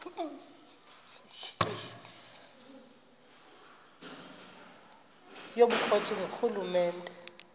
yobukro ti ngurhulumente